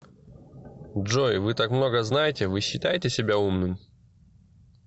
джой вы так много знаете вы считаете себя умным